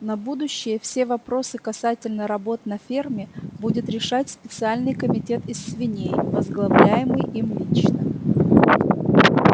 на будущее все вопросы касательно работ на ферме будет решать специальный комитет из свиней возглавляемый им лично